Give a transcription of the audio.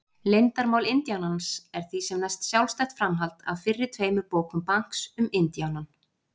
Leyndarmál indíánans er því sem næst sjálfstætt framhald af fyrri tveimur bókum Banks um indíánann.